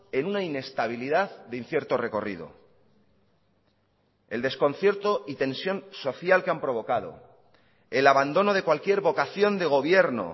en una inestabilidad de incierto recorrido el desconcierto y tensión social que han provocado el abandono de cualquier vocación de gobierno